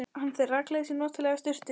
Hann fer rakleiðis í notalega sturtu.